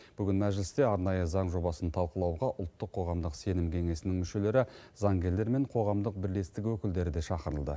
бүгін мәжілісте арнайы заң жобасын талқылауға ұлттық қоғамдық сенім кеңесінің мүшелері заңгерлер мен қоғамдық бірлестік өкілдері де шақырылды